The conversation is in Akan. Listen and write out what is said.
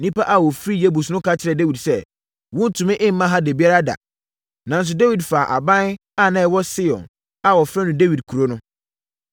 Nnipa a wɔfiri Yebus no ka kyerɛɛ Dawid sɛ, “Worentumi mma ha da biara da.” Nanso, Dawid faa aban a na ɛwɔ Sion a wɔfrɛ no Dawid Kuro no.